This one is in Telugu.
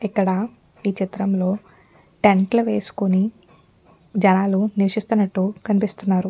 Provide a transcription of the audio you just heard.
ఇక్కడ ఈ చిత్రంలో టెంట్ లు వేసుకొని జనాలు నివాసిస్తున్నట్లు కనిపిస్తున్నారు.